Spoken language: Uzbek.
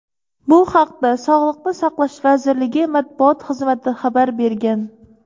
Bu haqda Sog‘liqni saqlash vazirligi Matbuot xizmati xabar bergan.